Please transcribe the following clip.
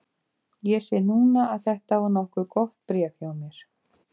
Ég sé núna að þetta var nokkuð gott bréf hjá mér.